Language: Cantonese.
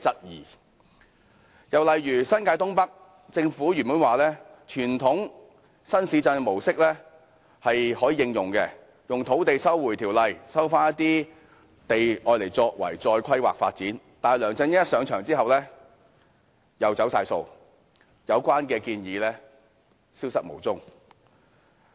又以新界東北為例，政府原本說可按傳統新市鎮的模式，引用《收回土地條例》收回土地再作規劃發展，但梁振英上場後又完全"走晒數"，有關建議消失無蹤。